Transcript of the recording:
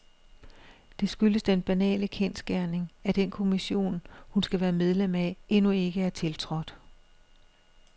Det skyldes den banale kendsgerning, at den kommission, hun skal være medlem af, endnu ikke er tiltrådt.